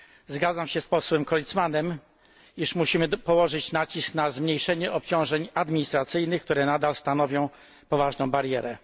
Zgadzam się z posłem Creutzmannem, iż musimy położyć nacisk na zmniejszenie obciążeń administracyjnych, które nadal stanowią poważną barierę.